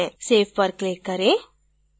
save पर click करें